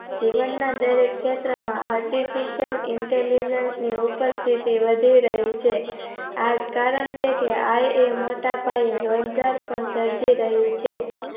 જીવનના દરેક ક્ષેત્રમાં artificial intelligence ની ઉપસ્થિતિ વધી રહી છે. આજ કારણ છે કે આય એ મોટા પાયે રોજગાર સર્જી રહી છે